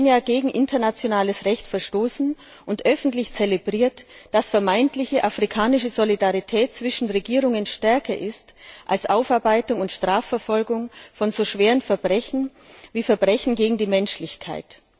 Dadurch hat Kenia gegen internationales Recht verstoßen und öffentlich zelebriert, dass die vermeintliche afrikanische Solidarität zwischen Regierungen stärker ist als die Aufarbeitung und Strafverfolgung von so schweren Verbrechen wie Verbrechen gegen die Menschlichkeit.